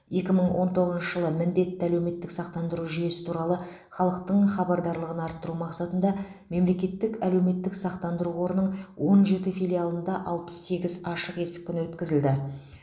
екі мың он тоғызыншы жылы міндетті әлеуметтік сақтандыру жүйесі туралы халықтың хабардарлығын арттыру мақсатында мемлекеттік әлеуметтік сақтандыру қорының он жеті филиалында алпыс сегіз ашық есік күні өткізілді